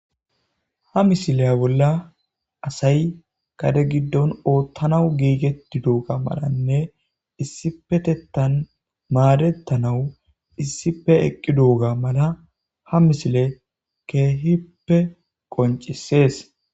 ha misileya bolla asay qade giddon oottanau giigetti duuga malanne issipetettan maadettanawu issife eqqi duuga mala ha misile keehippe qoncisees